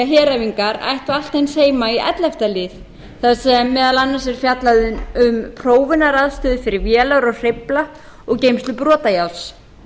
heræfingar ættu allt eins heima í ellefta lið þar sem meðal annars er fjallað um prófunaraðstöðu fyrir vélar og hreyfla og geymslu brotajárns